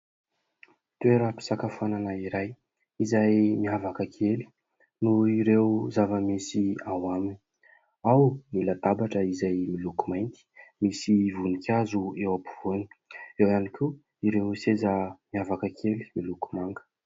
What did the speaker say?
Toeram-pisakafoanana iray izay miavaka kely noho ireo zava-misy ao aminy ; ao ny latabatra izay miloko mainty, misy voninkazo eo ampovoany ; ireo ihany koa ireo seza miavaka kely miloko manga.